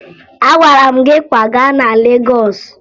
Agwara m gị kwaga na Legọọsụ!